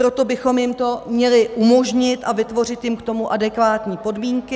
Proto bychom jim to měli umožnit a vytvořit jim k tomu adekvátní podmínky.